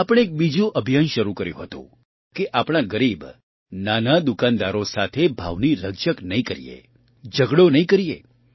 આપણે એક બીજું અભિયાન શરૂ કર્યું હતું કે આપણા ગરીબ નાના દુકાનદારો સાથે ભાવની રકઝક નહીં કરીએ ઝગડો નહીં કરીએ